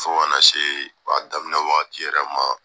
Fo kana se f'a daminɛ wagati yɛrɛ ma